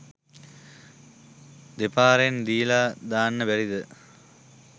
දෙපාරෙන් දීල දාන්න බැරිද?